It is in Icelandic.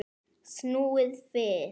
Snúið við.